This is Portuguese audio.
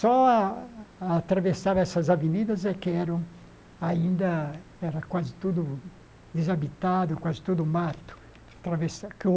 Só a atravessava essas avenidas é que eram ainda era quase tudo desabitado, quase tudo mato. Atravessar que o